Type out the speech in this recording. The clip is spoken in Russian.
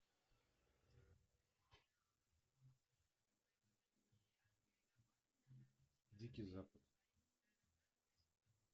дикий запад